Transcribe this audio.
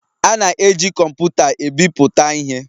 A na-eji kọmpụta ebipụta ihe